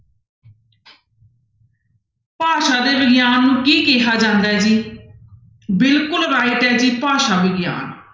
ਭਾਸ਼ਾ ਦੇ ਵਿਗਿਆਨ ਨੂੂੰ ਕੀ ਕਿਹਾ ਜਾਂਦਾ ਹੈ ਜੀ ਬਿਲਕੁਲ right ਹੈ ਜੀ ਭਾਸ਼ਾ ਵਿਗਿਆਨ।